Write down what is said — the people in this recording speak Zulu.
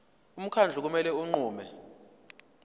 umkhandlu kumele unqume